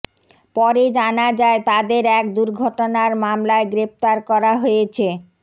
পরে জানা যায় তাদের এক দুর্ঘটনার মামলায় গ্রেফতার করা হয়েছে